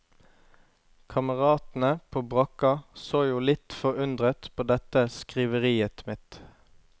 Kameratene fra brakka så jo litt forundret på dette skriveriet mitt.